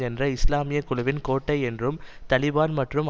என்ற இஸ்லாமிய குழுவின் கோட்டை என்றும் தலிபான் மற்றும்